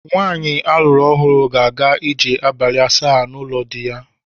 Nwaanyi a lụrụ ọhụrụ na-aga ije abalị asaa n'ụlọ di ya.